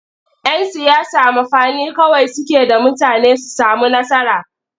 Yan siyasa mafani kawai suke da mutane su sami nasara.